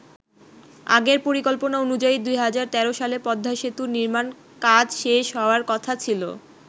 আগের পরিকল্পনা অনুযায়ী ২০১৩ সালে পদ্মা সেতুর নির্মাণ কাজ শেষ হওয়ার কথা ছিল।